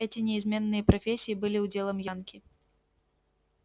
эти неизменные профессии были уделом янки